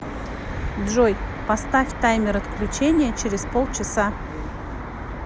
джой поставь таймер отключения через полчаса